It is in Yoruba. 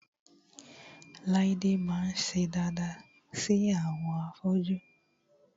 Láídé máa ń ṣe daada sí àwọn afọ́jú